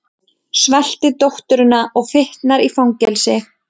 Svelti dótturina og fitnar í fangelsi